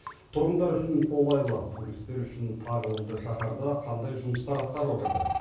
тұрғындар үшін қолайлы туристер үшін тағылымды шаһарда қандай жұмыстар атқарылып жатыр